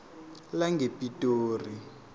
langepitori